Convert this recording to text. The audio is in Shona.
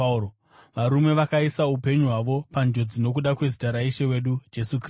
varume vakaisa upenyu hwavo panjodzi nokuda kwezita raIshe wedu Jesu Kristu.